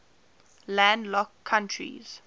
landlocked countries